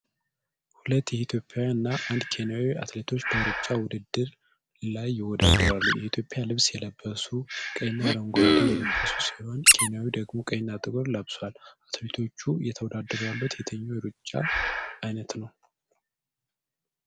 ሁለት ኢትዮጵያውያን እና አንድ ኬንያዊ አትሌቶች በሩጫ ውድድር ላይ ይወዳደሩ። የኢትዮጵያ ልብስ የለበሱት ቀይና አረንጓዴ የለበሱ ሲሆን፣ ኬንያዊው ደግሞ ቀይና ጥቁር ለብሷል፤ አትሌቶቹ እየተወዳደሩ ያሉት የትኛው የሩጫ ዓይነት ነው?